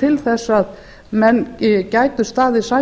til þess að menn gætu staðið